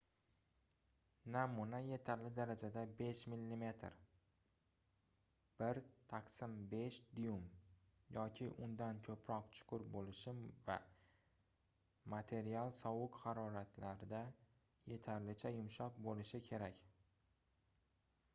namuna yetarli darajada — 5 mm 1/5 duym yoki undan ko'proq chuqur bo'lishi va material sovuq haroratlarda yetarlicha yumshoq bo'lishi kerak